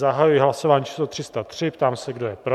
Zahajuji hlasování číslo 303, ptám se, kdo je pro?